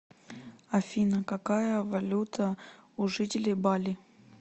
афина какая валюта у жителей бали